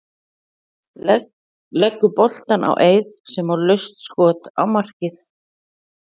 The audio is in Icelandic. Leggur boltann á Eið sem á laust skot á markið.